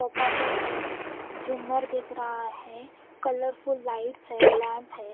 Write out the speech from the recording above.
सोपा set है झूमर दिख रहा है कलरफुल लाइट्स है लैंप है--